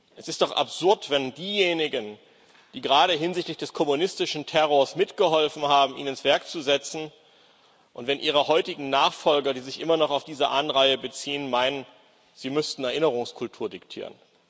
Es ist doch absurd, wenn diejenigen, die gerade hinsichtlich des kommunistischen Terrors mitgeholfen haben, ihn ins Werk zu setzen, und ihre heutigen Nachfolger, die sich immer noch auf diese Anreihe beziehen, meinen, sie müssten Erinnerungskultur diktieren.